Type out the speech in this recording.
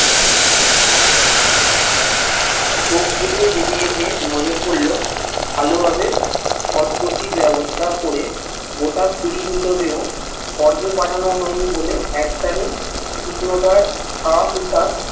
চোখ বুলিয়ে যেতে যেতে নজর পরলো ভালোভাবে পদ গতির ব্যবস্থা করে গোটা কুড়ি মৃতদেহ স্বর্গে পাঠানো হয়নি বলে এক স্থানীয়